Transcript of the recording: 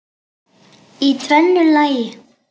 Í tvennu lagi.